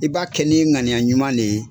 I b'a kɛ ni ŋaniya ɲuman de ye.